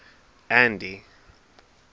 andy